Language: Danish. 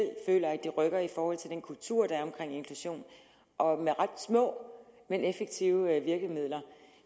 føler at de rykker i forhold til den kultur der er omkring inklusion og med ret små men effektive virkemidler